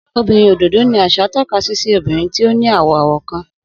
Obinrin ododo ni aṣa tọka si obinrin ti o ni awọ-awọ kan.